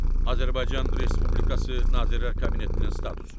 Azərbaycan Respublikası Nazirlər Kabinetinin statusu.